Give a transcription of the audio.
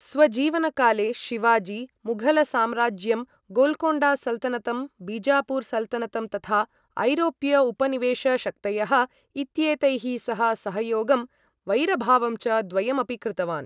स्वजीवनकाले शिवाजी, मुघलसाम्राज्यं, गोल्कोण्डा सल्तनतं, बीजापुर सल्तनतं, तथा ऐरोप्य उपनिवेश शक्तयः इत्येतैः सह सहयोगं, वैरभावं च द्वयमपि कृतवान्।